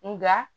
Nka